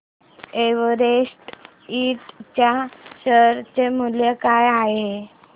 Everest ind च्या share चे मूल्य काय आहे